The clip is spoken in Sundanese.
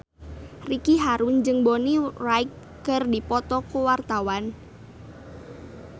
Ricky Harun jeung Bonnie Wright keur dipoto ku wartawan